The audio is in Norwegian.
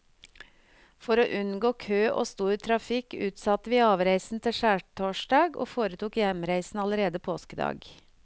For å unngå kø og stor trafikk utsatte vi avreisen til skjærtorsdag og foretok hjemreisen allerede påskedag.